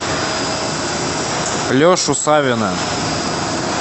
лешу савина